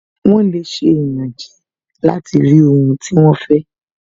Wọ́n lè ṣe ìyànjẹ láti rí ohun tí wọ́n fẹ́